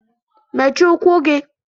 mechie ụkwụ gị!!